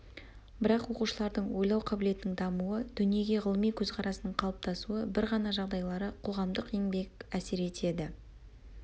бірақ оқушылардың ойлау қабілетінің дамуы дүниеге ғылыми көзқарасының қалыптасуы бір ғана жағдайлары қоғамдық еңбек әсер етеді